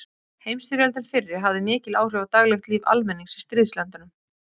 Heimsstyrjöldin fyrri hafði mikil áhrif á daglegt líf almennings í stríðslöndunum.